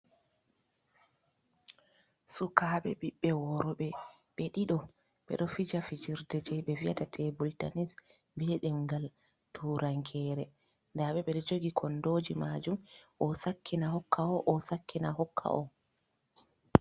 Sukabe bibbe worbe be dido bedo fija fijirde je be vi’ata tebul tanis be demgal turankore, dabe be do jogi kondoji majum o sakkina hokka o, o sakkina hokka o.